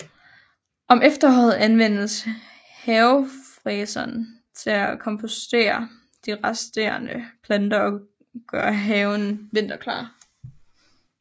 Om efteråret anvendes havefræseren til at kompostere de resterende planter og gøre haven vinterklar